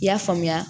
I y'a faamuya